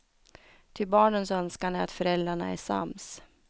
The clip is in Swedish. Ty barnens önskan är att föräldrarna är sams.